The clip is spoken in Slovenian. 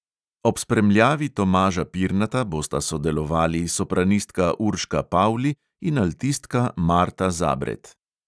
Ob spremljavi tomaža pirnata bosta sodelovali sopranistka urška pavli in altistka marta zabret.